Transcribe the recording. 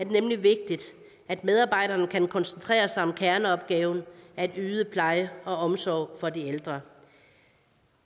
nemlig vigtigt at medarbejderne kan koncentrere sig om kerneopgaven at yde pleje og omsorg for de ældre